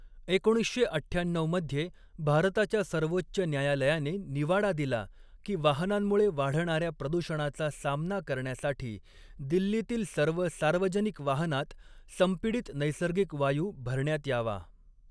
एकोणीसशे अठ्ठ्याण्णऊ मध्ये भारताच्या सर्वोच्च न्यायालयाने निवाडा दिला की वाहनांमुळे वाढणाऱ्या प्रदूषणाचा सामना करण्यासाठी दिल्लीतील सर्व सार्वजनिक वाहनांत संपीडित नैसर्गिक वायू भरण्यात यावा.